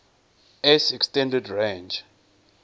s extended range